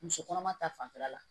Muso kɔnɔma ta fanfɛla la